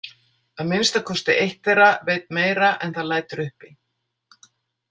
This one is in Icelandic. Að minnsta kosti eitt þeirra veit meira en það lætur uppi.